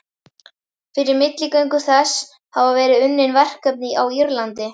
Fyrir milligöngu þess hafa verið unnin verkefni á Írlandi.